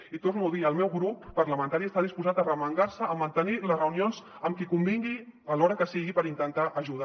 i ho torno a dir el meu grup parlamentari està disposat a arremangar se a mantenir les reunions amb qui convingui a l’hora que sigui per intentar ajudar